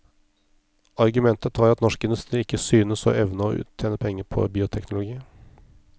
Argumentet var at norsk industri ikke synes å evne å tjene penger på bioteknologi.